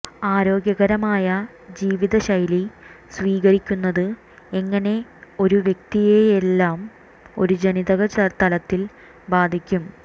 ആരോഗ്യകരമായ ജീവിത ശൈലി സ്വീകരിക്കുന്നത് എങ്ങനെ ഒരു വ്യക്തിയെയെയെല്ലാം ഒരു ജനിതക തലത്തിൽ ബാധിക്കും